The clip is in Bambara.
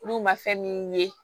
Olu ma fɛn min ye